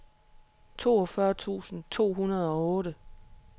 toogfyrre tusind to hundrede og otte